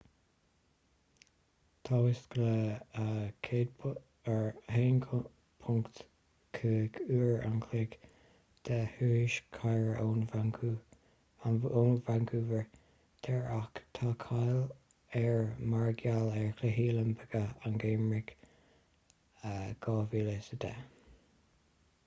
tá whistler 1.5 uair an chloig de thuras cairr ó vancouver daor ach tá cáil air mar gheall ar chluichí oilimpeacha an gheimhridh 2010